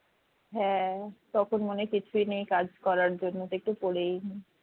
হ্যাঁ তখন মনে হয় কিছুই নেই কাজ করার জন্য একটু পড়েই নি